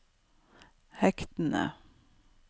hektene